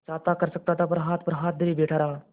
चाहता कर सकता था पर हाथ पर हाथ धरे बैठे रहा